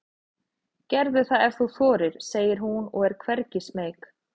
Gerðu það ef þú þorir, segir hún og er hvergi smeyk.